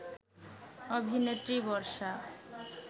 অভিনেত্রী বর্ষা